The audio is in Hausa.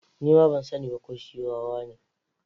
Ni ma ban sani ba ko shi wawa ne.